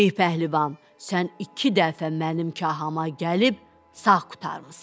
Ey pəhlivan, sən iki dəfə mənim kahama gəlib sağ qurtarmısan.